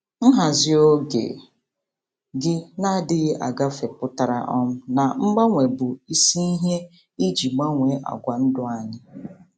Nhazi oge gị na-adịghị agafe pụtara um na mgbanwe bụ isi ihe iji gbanwee àgwà ndụ anyị.